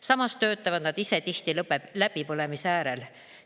Samas töötavad nad ise tihti läbipõlemise äärel.